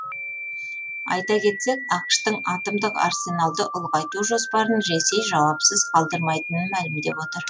айта кетсек ақш тың атомдық арсеналды ұлғайту жоспарын ресей жауапсыз қалдырмайтынын мәлімдеп отыр